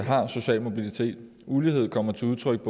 har social mobilitet ulighed kommer til udtryk